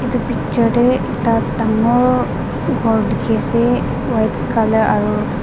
Etu picture dae ekta dangor ghor dekhe ase white colour aro--